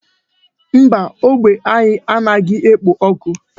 Mba, ógbè anyị a naghị ekpo ọkụ.